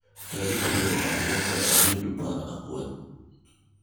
tarik piero ariyo kod ariyo dwe mar Ang'wen